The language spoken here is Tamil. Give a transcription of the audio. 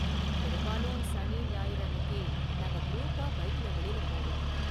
பெரும்பாலும் சனி, ஞாயிறு அன்னிக்கு நாங்க குரூப்பா பைக்ல வெளில போவோம்.